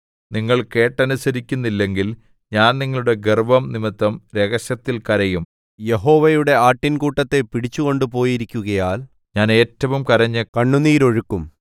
നിങ്ങൾ കേട്ടനുസരിക്കുന്നില്ലെങ്കിൽ ഞാൻ നിങ്ങളുടെ ഗർവ്വം നിമിത്തം രഹസ്യത്തിൽ കരയും യഹോവയുടെ ആട്ടിൻകൂട്ടത്തെ പിടിച്ചു കൊണ്ടുപോയിരിക്കുകയാൽ ഞാൻ ഏറ്റവും കരഞ്ഞു കണ്ണുനീരൊഴുക്കും